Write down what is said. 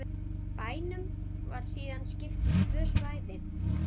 Bænum var síðan skipt í tvö svæði